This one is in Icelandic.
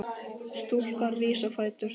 Stúlkan rís á fætur.